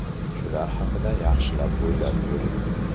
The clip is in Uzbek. Shular haqida yaxshilab o‘ylab ko‘ring.